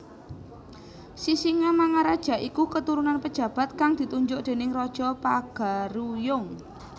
Sisingamangaraja iku keturunan pejabat kang ditunjuk déning raja Pagaruyung